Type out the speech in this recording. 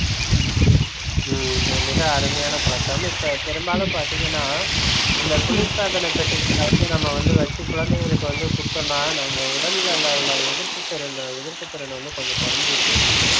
உம் உம் மிக அருமையான பழக்கம் இப்ப பெரும்பாலும் பார்த்தீங்கன்னா இந்த குளிர்சாதன பெட்டிகளில்ல வந்து நம்ம வந்து வச்சு குழந்தைகளுக்கு வந்து கொடுத்துதோம்ன்னா நம்ம உடல்லல உள்ள எதிர்ப்புத்திறன் எதிர்ப்புத்திறன் வந்து கொஞ்சம் குறைஞ்சிடுது